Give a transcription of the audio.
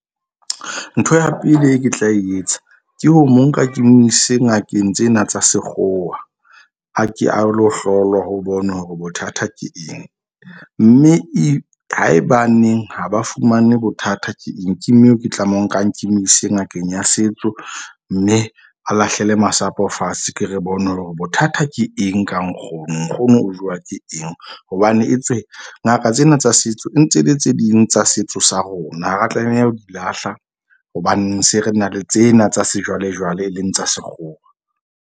Ntho ya pele e ke tla e etsa ke ho mo nka ke mo ise ngakeng tsena tsa sekgowa. A ke a lo hlolwa ho bonwe hore bothata ke eng. Mme e haebaneng ha ba fumane bothata ke eng. Ko moo ke tlameha ho nkang ke mo ise ngakeng ya setso. Mme a lahlele masapo fatshe. Ke re bone hore bothata ke eng ka nkgono. Nkgono o jowa ke eng hobane etswe ngaka tsena tsa setso e ntse e le tse ding tsa setso sa rona ha ra tlameha ho di lahla. Hobane se re na le tsena tsa sejwalejwale, e leng tsa sekgowa.